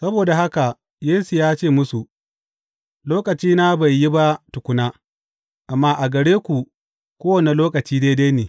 Saboda haka Yesu ya ce musu, Lokacina bai yi ba tukuna; amma a gare ku kowane lokaci daidai ne.